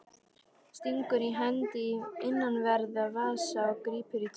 Stingur hendi í innanverðan vasa og grípur í tómt.